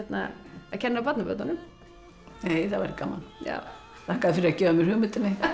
að kenna barnabörnunum það væri gaman þakka þér fyrir að gefa mér hugmyndina